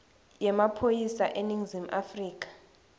yemaphoyisa eningizimu afrika